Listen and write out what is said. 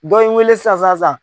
Dɔ ye n wele sisan sisan sisan.